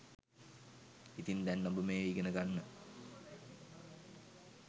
ඉතින් දැන් ඔබ මේ ඉගෙන ගන්න